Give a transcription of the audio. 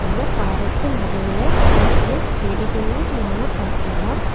இந்த பாறைக்கு நடுவுல சின்ன சின்ன செடிகளையு நாம பாக்கலா.